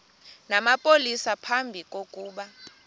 namapolisa phambi kokuba